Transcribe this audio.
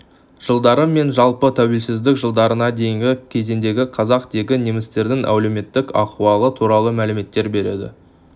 жылдары мен жалпы тәуелсіздік жылдарына дейінгі кезеңдегі қазақ дегі немістердің әлеуметтік ахуалы туралы мәліметтер береді